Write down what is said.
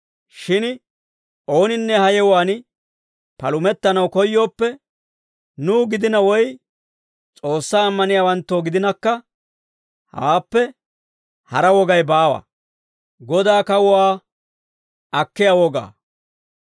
Shin ooninne ha yewuwaan palumettanaw koyyooppe, nuw gidina woy S'oossaa ammaniyaawanttoo gidinakka, hawaappe hara wogay baawa.